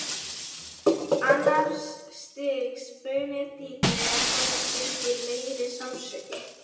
Annars stigs bruni er dýpri og honum fylgir meiri sársauki.